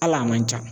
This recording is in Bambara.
Hal'a man ca